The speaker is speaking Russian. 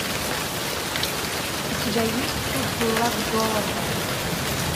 у тебя есть кадиллак долана